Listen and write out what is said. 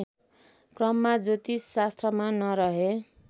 क्रममा ज्योतिषशास्त्रमा नरहे